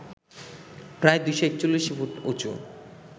প্রায় ২৪১ ফুট উঁচু